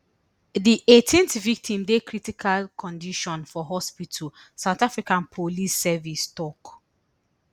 di eighteenth victim dey critical condition for hospital south africa police service tok